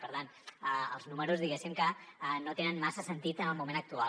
per tant els números diguéssim que no tenen massa sentit en el moment actual